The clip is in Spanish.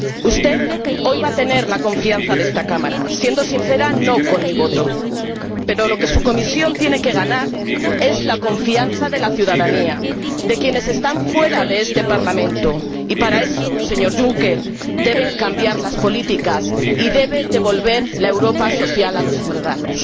Usted hoy va a tener la confianza de esta Cámara —siendo sincera, no con mi voto—, pero lo que su Comisión tiene que ganar es la confianza de la ciudadanía, de quienes están fuera de este Parlamento y, para eso, señor Juncker, deben cambiar las políticas y debe devolver la Europa social a los ciudadanos.